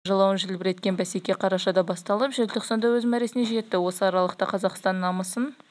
осымен алтыншы мәрте жалауын желбіреткен бәсеке қарашада басталып желтоқсанда өз мәресіне жетті осы аралықта қазақстан намысын